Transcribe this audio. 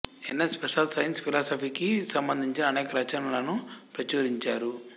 NS Prasad science ఫిలాసఫీకి సంబంధించిన అనేక రచనలను ప్రచురించారు